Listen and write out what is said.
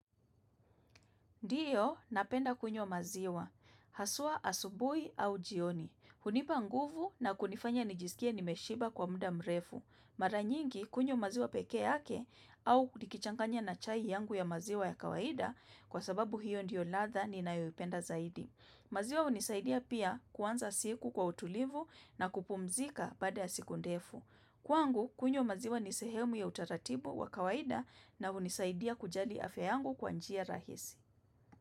Ndiyo napenda kunywa maziwa. Haswa asubuhi au jioni. Hunipa nguvu na kunifanya nijisikia nimeshiba kwa muda mrefu. Mara nyingi kunywa maziwa pekee yake au nikichanganya na chai yangu ya maziwa ya kawaida kwa sababu hiyo ndiyo ladha ni nayoipenda zaidi. Maziwa hunisaidia pia kuanza siku kwa utulivu na kupumzika baada ya siku ndefu. Kwangu kunywa maziwa ni sehemu ya utaratibu wa kawaida na hunisaidia kujali afya yangu kwa njia rahisi.